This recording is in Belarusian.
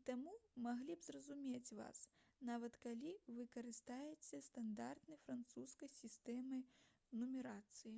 і таму маглі б зразумець вас нават калі вы карыстаецеся стандартнай французскай сістэмай нумарацыі